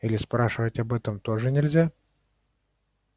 или спрашивать об этом тоже нельзя